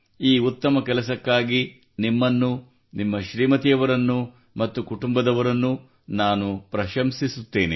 ಈ ಉತ್ತಮ ಕೆಲಸಕ್ಕಾಗಿ ನಿಮ್ಮನ್ನು ನಿಮ್ಮ ಶ್ರೀಮತಿಯವರನ್ನು ಮತ್ತು ಕುಟುಂಬದವರನ್ನು ನಾನು ಪ್ರಶಂಸಿಸುತ್ತೇನೆ